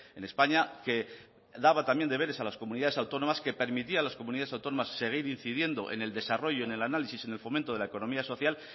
en españa que daba también deberes a las comunidades autónomas que permitía a las comunidades autónomas seguir incidiendo en el desarrollo en el análisis en el fomento de la economía social